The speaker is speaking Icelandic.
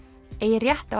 eigi rétt á